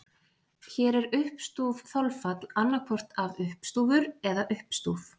Hér er uppstúf þolfall annaðhvort af uppstúfur eða uppstúf.